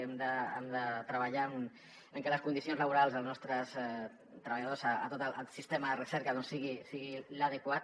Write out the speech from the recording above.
hem de treballar en què les condicions laborals dels nostres treballadors a tot el sistema de recerca sigui l’adequat